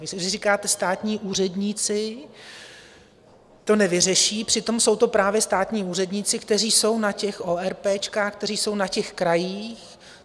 Vy říkáte, státní úředníci to nevyřeší, přitom jsou to právě státní úředníci, kteří jsou na těch oerpéčkách, kteří jsou na těch krajích.